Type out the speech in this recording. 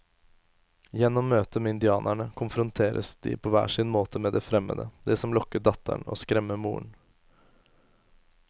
Gjennom møtet med indianerne konfronteres de på hver sin måte med det fremmede, det som lokker datteren og skremmer moren.